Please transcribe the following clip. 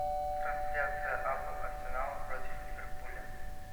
трансляция апл арсенала против ливерпуля